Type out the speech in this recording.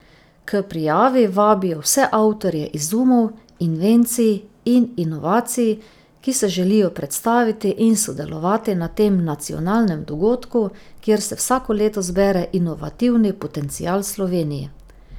K prijavi vabijo vse avtorje izumov, invencij in inovacij, ki se želijo predstaviti in sodelovati na tem nacionalnem dogodku, kjer se vsako leto zbere inovativni potencial Slovenije.